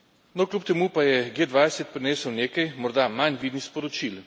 No, kljub temu pa je G20 prinesel nekaj morda manj vidnih sporočil.